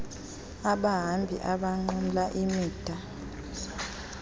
abahambi abanqumla imida